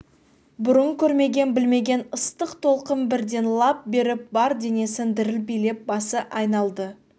бұрын көрмеген білмеген ыстық толқын бірден лап беріп бар денесін діріл билеп басы айналды